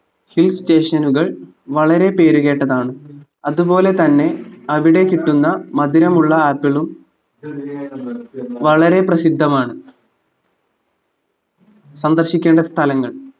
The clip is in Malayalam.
hill station ഉകൾ വളരെ പേരു കേട്ടതാണ് അതു പോലെ തന്നെ അവിടെ കിട്ടുന്ന മധുരമുള്ള ആപ്പിളും വളരെ പ്രസിദ്ധമാണ് സന്ദർശിക്കേണ്ട സ്ഥലങ്ങൾ